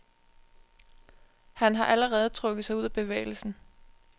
Han har allerede trukket sig ud af bevægelsen.